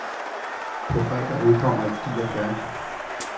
På fredag udkommer et digert værk.